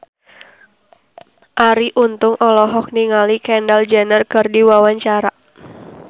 Arie Untung olohok ningali Kendall Jenner keur diwawancara